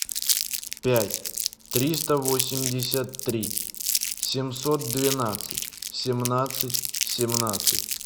пять триста восемьдесят три семьсот двенадцать семнадцать семнадцать